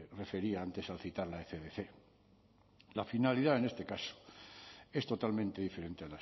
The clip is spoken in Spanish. refería antes al citar la ecdc la finalidad en este caso es totalmente diferente